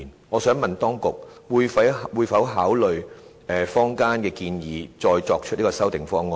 我想問當局會否考慮坊間的建議，再提出修訂方案？